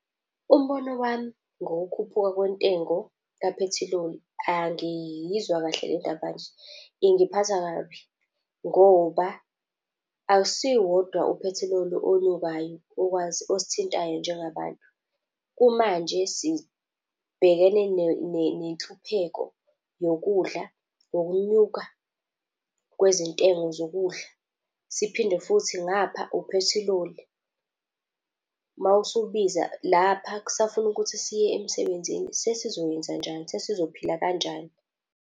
Umbono wami ngokukhuphuka kwentengo kaphethiloli, angiyizwa kahle le ndaba nje. Ingiphatha kabi ngoba akusiwo wodwa uphethiloli onyukayo okwazi, osithintayo njengabantu. Kumanje sibhekene nenhlupheko yokudla, nokunyuka kwezintengo zokudla. Siphinde futhi ngapha uphethiloli mawusubiza. Lapha kusafuna ukuthi siye emsebenzini, sesizoyenzenjani? Sesizophila kanjani?